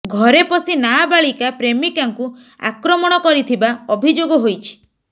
ଘରେ ପଶି ନାବାଳିକା ପ୍ରେମିକାକୁ ଆକ୍ରମଣ କରିଥିବା ଅଭିଯୋଗ ହୋଇଛି